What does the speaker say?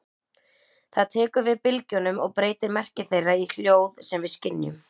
Það tekur við bylgjunum og breytir merki þeirra í hljóð sem við skynjum.